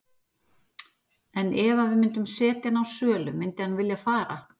En ef að við myndum setja hann á sölu myndi hann vilja fara?